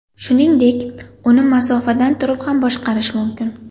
Shuningdek, uni masofadan turib ham boshqarish mumkin.